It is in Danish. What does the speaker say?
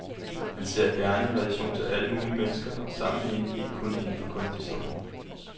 Han ser sig gerne i relation til alle mulige mennesker og sammenhænge, ikke kun inden for kunsthistorien.